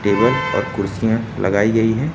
Table और कुर्सियां लगाई गई हैं।